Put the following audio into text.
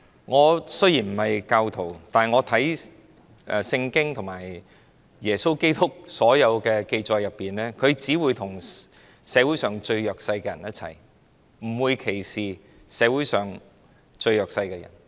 我雖然不是教徒，但我看《聖經》和耶穌基督所有紀載裏，他只會與社會上最弱勢的人一起，不會歧視社會上最弱勢的人。